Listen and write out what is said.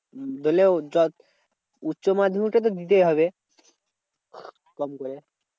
উচ্চমাধ্যমিক টা তো দিতেই হবে। কম করে।